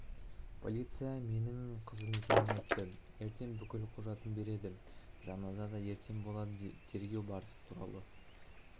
полиция менің қызым екенін айтты ертең бүкіл құжатын береді жаназа да ертең болады тергеу барысы туралы